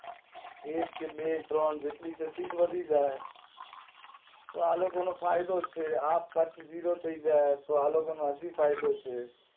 એક કે બે ત્રણ જેટલી છે સીટ વધી જશે તો આલોકો નો ફાયદો જ છે આપ પછી ઝીરો થઇ જશે તો આલોકો ને એન ભી ફાયદો છે